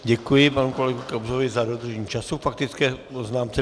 Děkuji panu kolegovi Kobzovi za dodržení času k faktické poznámce.